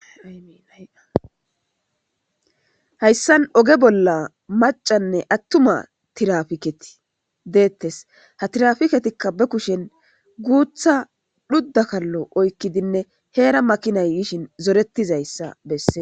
Aiihayssan oge bolla macanne attuma tirafiketi deettes ha tirafiketikka be kushen guutha dhuddakallo oykkidinne heera makinay yishin zoretizayssa besse